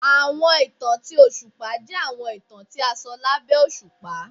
Awọn itan ti oṣupa jẹ awọn itan ti a sọ labẹ oṣupa.